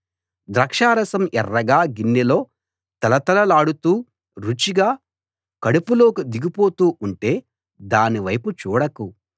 ద్రాక్షారసం ఎర్రగా గిన్నెలో తళతళలాడుతూ రుచిగా కడుపులోకి దిగిపోతూ ఉంటే దానివైపు చూడకు